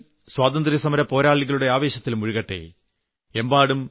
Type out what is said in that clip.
രാജ്യം മുഴുവൻ സ്വാതന്ത്ര്യസമര പോരാളികളുടെ ആവേശത്തിൽ മുഴുകട്ടെ